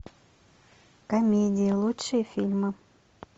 комедии лучшие фильмы